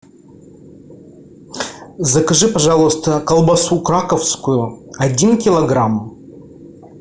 закажи пожалуйста колбасу краковскую один килограмм